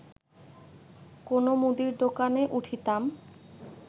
কোনো মুদীর দোকানে উঠিতাম